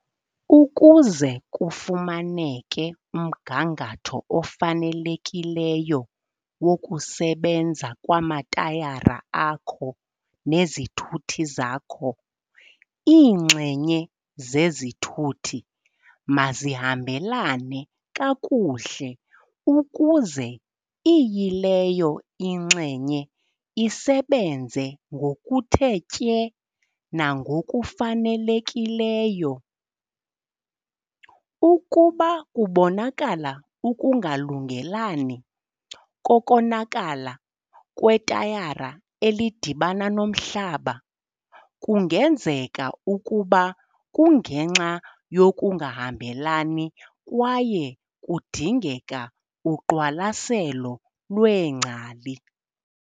Ukuze kufumaneke umgangatho ofanelekileyo wokusebenza kwamatayara akho nezithuthi zakho, iinxenye zesithuthi mazihambelane kakuhle ukuze iyileyo inxenye isebenze ngokuthe tye nangokufanelekileyo. Ukuba kubonakala ukungalungelani kokonakala kwetayara elidibana nomhlaba, kungenzeka ukuba kungenxa yokungahambelani kwaye kudingeka uqwalaselo lweengcali.